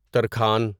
ترکھان